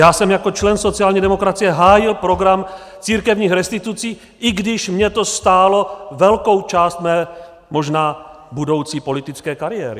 Já jsem jako člen sociální demokracie hájil program církevních restitucí , i když mě to stálo velkou část mé možná budoucí politické kariéry.